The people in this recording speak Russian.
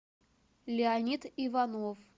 леонид иванов